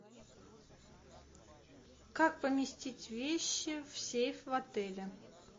как поместить вещи в сейф в отеле